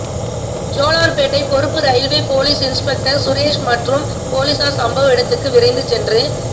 ஜோலார்பேட்டை பொறுப்பு railway police inspector Suresh மற்றும் போலீசார் சம்பவ இடத்துக்கு விரைந்து சென்று